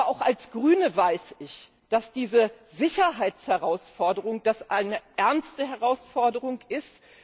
Aber auch als Grüne weiß ich, dass diese Sicherheitsherausforderung eine ernste Herausforderung ist.